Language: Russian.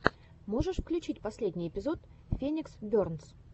можешь включить последний эпизод феникс бернс